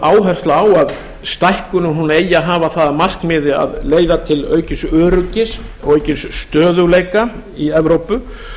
áhersla á að stækkunin eigi að hafa það að markmiði að leiða til aukins öryggis og aukins stöðugleika í evrópu